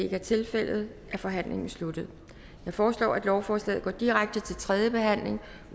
er tilfældet er forhandlingen sluttet jeg foreslår at lovforslaget går direkte til tredje behandling